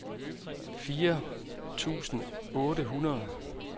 fire tusind otte hundrede